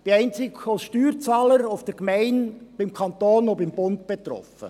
Ich bin einzig als Steuerzahler bei der Gemeinde, beim Kanton und beim Bund betroffen.